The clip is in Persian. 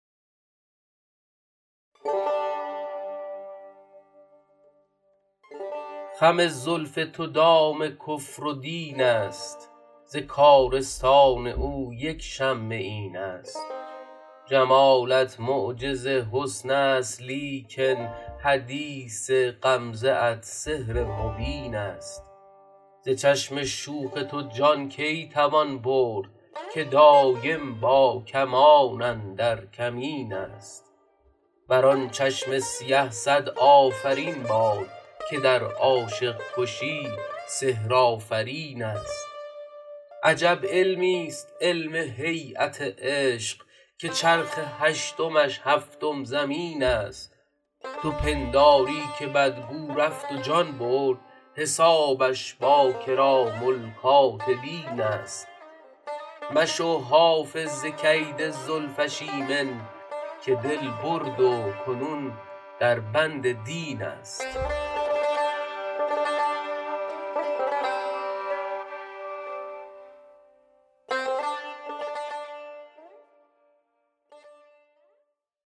خم زلف تو دام کفر و دین است ز کارستان او یک شمه این است جمالت معجز حسن است لیکن حدیث غمزه ات سحر مبین است ز چشم شوخ تو جان کی توان برد که دایم با کمان اندر کمین است بر آن چشم سیه صد آفرین باد که در عاشق کشی سحرآفرین است عجب علمیست علم هییت عشق که چرخ هشتمش هفتم زمین است تو پنداری که بدگو رفت و جان برد حسابش با کرام الکاتبین است مشو حافظ ز کید زلفش ایمن که دل برد و کنون در بند دین است